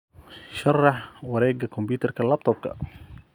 sharax wareegga kombayutarka laptop-ka